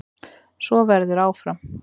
Svo verður áfram.